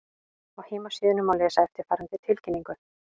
Á heimasíðunni má lesa eftirfarandi tilkynningu